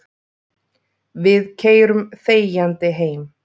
Við keyrum þegjandi heim.